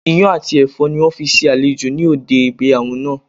Iyán àti èfó ni wón fi se àlejò ní òde ìgbéyàwó naa